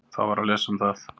Þá var að lesa um það.